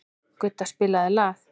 Gudda, spilaðu lag.